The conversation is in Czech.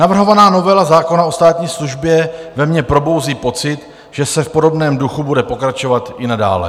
Navrhovaná novela zákona o státní službě ve mně probouzí pocit, že se v podobném duchu bude pokračovat i nadále.